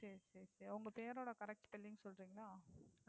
சரி சரி சரி உங்க பெயரோடு Correct Spelling சொல்றீங்களா?